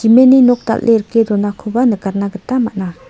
nok dal·e rike donakoba nikatna gita man·a.